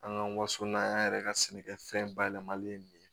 An ka waso n'an yɛrɛ ka sɛnɛkɛfɛn bayɛlɛmali ye nin ye